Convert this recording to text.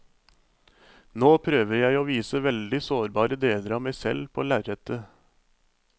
Nå prøver jeg å vise veldig sårbare deler av meg selv på lerretet.